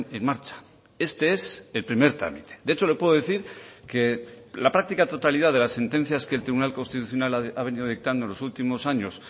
en marcha este es el primer trámite de hecho le puedo decir que la práctica totalidad de las sentencias que el tribunal constitucional ha venido dictando en los últimos años